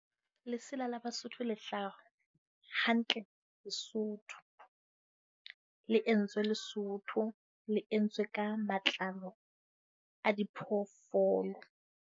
Lesela la Basotho lehlaso hantle Lesotho. Le entswe Lesotho, le entswe ka matlalo a diphoofolo.